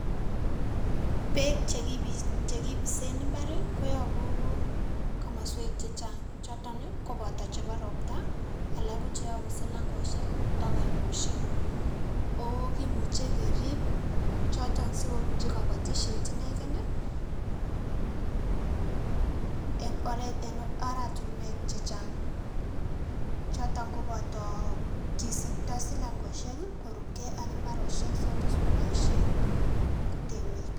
Peek chekipisen imbarii koyobu komoswek che chang chotonii kopoto chebo roptaa, alak ko cheyobu silankoshek ak oinoshek ooh kimuche kerip choton sikobunji kobotishet inegee nii, en oratinwek chechang choton ko boto kisipto silankoshek kii korup gee ak imbaroshek choton sikoboishen temik.